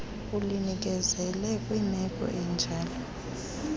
ulinikezele kwimeko enjalo